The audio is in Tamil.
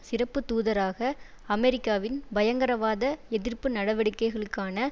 சிறப்பு தூதராக அமெரிக்காவின் பயங்கரவாத எதிர்ப்பு நடவடிக்கைகளுக்கான